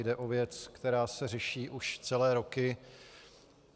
Jde o věc, která se řeší už celé roky.